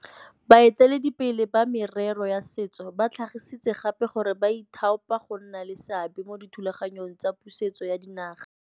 Baeteledipele ba merero ya setso ba tlhagisitse gape gore ba ithaopa go nna le seabe mo dithulaganyong tsa pusetso ya dinaga.